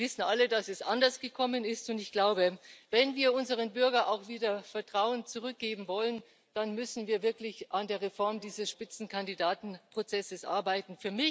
Wir wissen alle, dass es anders gekommen ist, und ich glaube, wenn wir unseren Bürgern auch wieder Vertrauen zurückgeben wollen, dann müssen wir wirklich an der Reform dieses Spitzenkandidatenprozesses arbeiten.